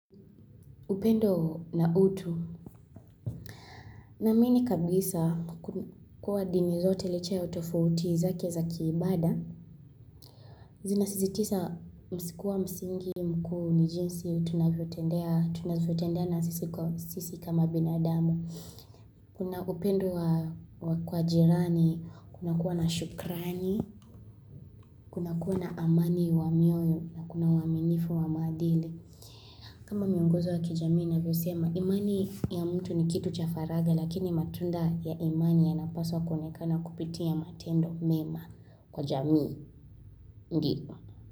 Upendo na utu naamini kabisa kuwa dini zote licha ya hutofu uti zake za kiibada zina sisi tisa msikuwa msingi mkuu ni jinsi tunavyotendea na sisi kwa sisi kama binadamu Kuna upendo wa kwa jirani kuna kuwa na shukrani Nakuna amani wa mioyo na kuna waminifu wa madhile kama miunguzwa kijamii na vyo sema imani ya mtu ni kitu chafaraga lakini matunda ya imani ya napaswa konekana kupitia matendo mema kwa jamii.